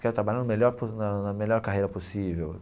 Quero trabalhar no melhor na na melhor carreira possível.